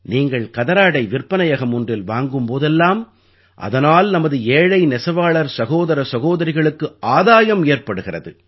நீங்கள் கதராடை விற்பனையகம் ஒன்றில் வாங்கும் போதெல்லாம்அதனால் நமது ஏழை நெசவாளர் சகோதர சகோதரிகளுக்கு ஆதாயம் ஏற்படுகிறது